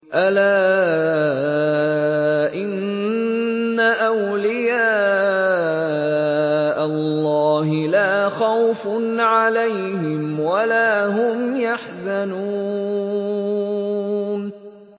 أَلَا إِنَّ أَوْلِيَاءَ اللَّهِ لَا خَوْفٌ عَلَيْهِمْ وَلَا هُمْ يَحْزَنُونَ